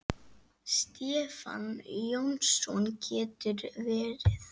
Stefán Jónsson getur verið